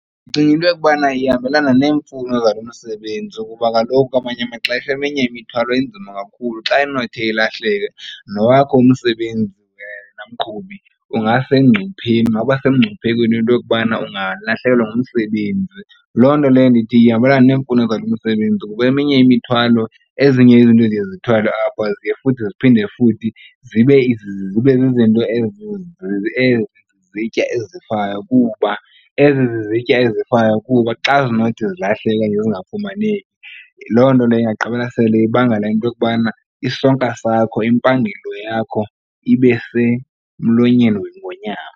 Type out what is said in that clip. Ndicinga into yokubana ihambelana neemfuno zabasebenzi ukuba kaloku kwamanye amaxesha eminye imithwalo inzima kakhulu. Xa inothi ilahleke nowakho umsebenzi wena mqhubi ungasengcupheni ungaba semngciphekweni into yokubana ungalahlekelwa ngumsebenzi. Loo nto leyo ndithi ihambelana neemfuno zalo msebenzi kuba eminye imithwalo ezinye izinto eziye zithwalwe apha ziye futhi ziphinde futhi zibe zizinto ezi zizitya ezifayo kuba ezi zizitya ezifayo kuba xa zinothi zilahleke okanye zingafumaneki loo nto leyo ingagqibela sele ibangela into yokubana isonka sakho, impangelo yakho ibe semlonyeni wengonyama.